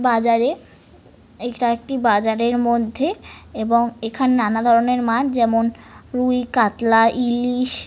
বাজারে এইটা একটি বাজারের মধ্যে এবং এখানে নানা ধরনের মাছ যেমন রুই কাতলা ইলিশ--